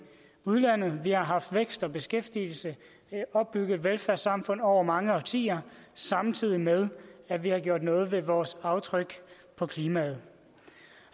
udlandet vi har haft vækst og beskæftigelse opbygget et velfærdssamfund over mange årtier samtidig med at vi har gjort noget ved vores aftryk på klimaet